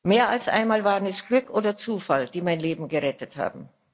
Mehr als einmal waren es Glück oder Zufall, die mein Leben gerettet haben.